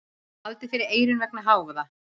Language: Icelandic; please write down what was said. Haldið fyrir eyrun vegna hávaða.